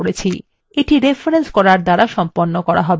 এটি রেফরেন্স করার দ্বারা সম্পন্ন করা হবে